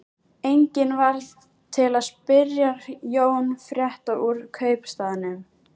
Enginn varð til að spyrja Jón frétta úr kaupstaðnum.